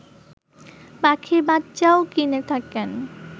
পাখির বাচ্চাও কিনে থাকেন